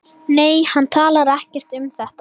Nei, hann talar ekkert um þetta.